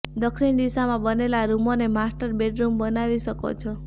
દક્ષિણ દિશામાં બનેલા રૂમોને માસ્ટર બેડરૂમ બનાવી શકો છો